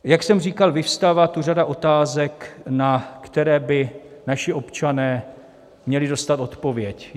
Jak jsem říkal, vyvstává tu řada otázek, na které by naši občané měli dostat odpověď.